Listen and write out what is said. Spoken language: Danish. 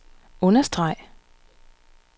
understreg